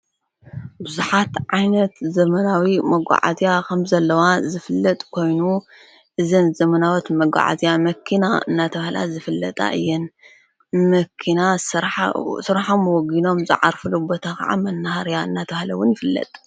ብዙኃት ዓይነት ዘመናዊ መጕዓዝያ ኸም ዘለዋ ዘፍለጥ ኮይኑ እዘን ዘመናወት መጕዓእዝያ መኪና እናተብሃላ ዝፍለጣ እየን መኪና ሥርሖምወጊኖም ዝዓርፉሉ ቦታ ኸዓ መናሃርያ እናተብሃለዉን ይፍለጥ::